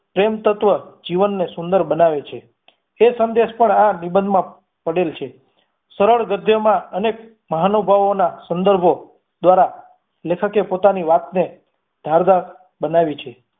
પ્રેમ તત્વ જીવનને સુંદર બનાવે છે એ સંદેશ પણ આ નિબંધ માં પડેલ છે સરળ ગધ્યમાં અનેક મહાનુભાવો ના સુંદર ભોગ દ્વારા લેખક એ પોતાની વાતને ધારદાર બનાવી છે